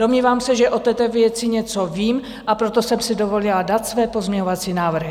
Domnívám se, že o této věci něco vím, a proto jsem si dovolila dát své pozměňovací návrhy.